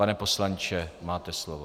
Pane poslanče, máte slovo.